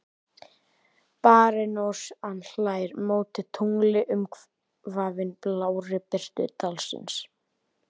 Barónessan hlær móti tungli umvafin blárri birtu dalsins.